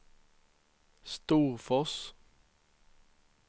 Storfors